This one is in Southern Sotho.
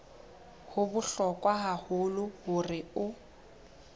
ho bohlokwa haholo hore o